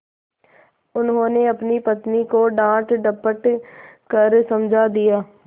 उन्होंने अपनी पत्नी को डाँटडपट कर समझा दिया